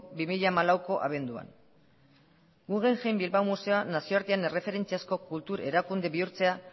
bi mila hamalauko abenduan guggenheim bilbao museoa nazioartean erreferentziazko kultur erakunde bihurtzea